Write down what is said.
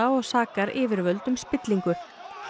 og sakar yfirvöld um spillingu